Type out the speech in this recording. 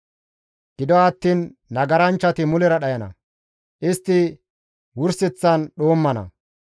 Gido attiin nagaranchchati mulera dhayana; istti wurseththan dhoommana.